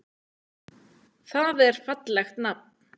Það er fallegt nafn.